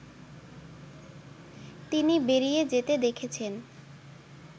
তিনি বেরিয়ে যেতে দেখেছেন